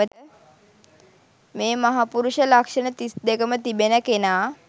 මේ මහපුරුෂ ලක්ෂණ තිස්දෙකම තිබෙන කෙනා